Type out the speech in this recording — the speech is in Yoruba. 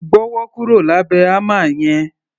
Gbọ́wọ́ kúrò lábẹ̀ hámà yẹn!